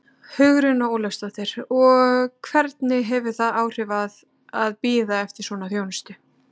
Hugrún Halldórsdóttir: Og hvernig hefur það áhrif að, að bíða eftir svona þjónustu?